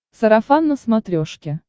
сарафан на смотрешке